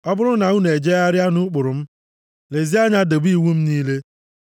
“ ‘Ọ bụrụ na unu ejegharịa nʼụkpụrụ m, lezie anya debe iwu m niile,